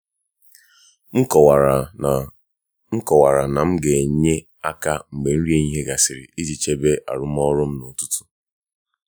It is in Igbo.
m kọwara na m kọwara na m ga-enye aka mgbe nri ehihie gasịrị iji chebe arụmọrụ m n’ụtụtụ.